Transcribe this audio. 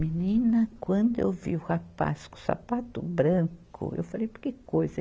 Menina, quando eu vi o rapaz com sapato branco, eu falei, por que coisa?